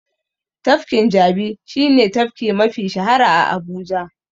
Tafkin Jabi shi ne tafki mafi shahara a Abuja.